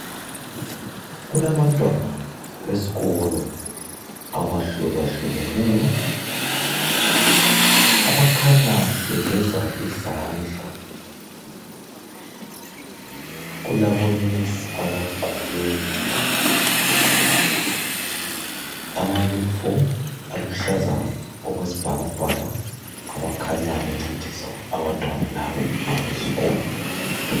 Kulabantwana besikolo abahlukahlukeneyo abakhanya begeza izandla. Kulabonesi abagqoke amayunifomu aluhlaza okwesibhakabhaka abakhanya bencedisa abantwana laba abesikolo.